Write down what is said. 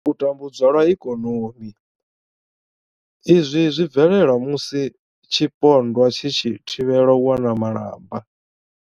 U tambudzwa lwa ikonomi, Izwi zwi bvelela musi tshipondwa tshi tshi thivhelwa u wana malamba.